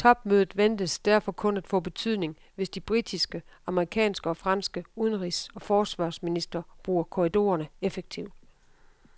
Topmødet ventes derfor kun at få betydning, hvis de britiske, amerikanske og franske udenrigs og forsvarsministre bruger korridorerne effektivt.